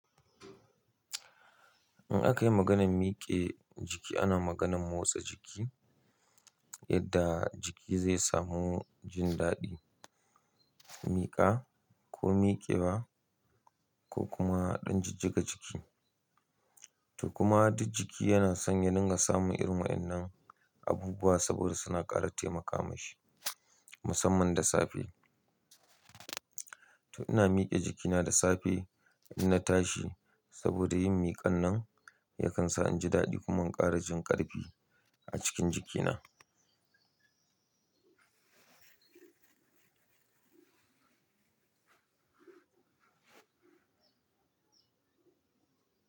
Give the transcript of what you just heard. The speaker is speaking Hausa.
In aka yi maganan mike jiki, ana maganan motsa jiki yadda jiki zai samu jin daɗi, miƙa ko miƙewa ko kuma ɗan jijjiga jiki. To kuma duk jiki yana son ya dinga samun irin wa'annan abubuwa saboda suna ƙara taimaka mashi musamman da safe. To ina miƙe jikina da safe in na tashi saboda yin miƙa nan yakan sa inji daɗi kuma in ƙara jin ƙarfi a cikin jikina.